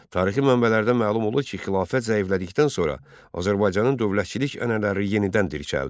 Tarixi mənbələrdən məlum olur ki, xilafət zəiflədikdən sonra Azərbaycanın dövlətçilik ənənələri yenidən dirçəldi.